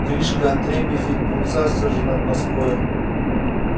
гришка отрепьев ведь поцарствовал же над москвою